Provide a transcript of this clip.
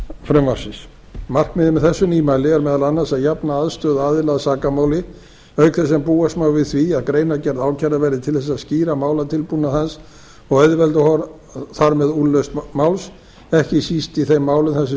frumvarpsins markmiðið með þessu nýmæli er meðal annars að jafna aðstöðu aðila að sakamáli auk þess sem búast má við því að greinargerð ákærða verði til að skýra málatilbúnað hans og auðvelda þar með úrlausn máls ekki síst í þeim málum þar sem